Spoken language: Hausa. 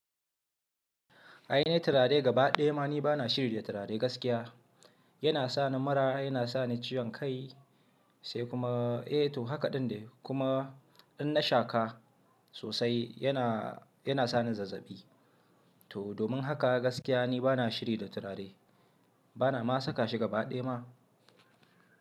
Ai ne turare gaba ɗaya ma ni bana shiri da turare gaskiya. Yana sani mura, yana sani ciwon kai sai kuma, eh to haka ɗin dai. Kuma in na shaka sosai yana, yana sani zazzabi. To domin haka gaskiya ni bana shiri da turare. Bana ma saka shi gaba ɗaya ma.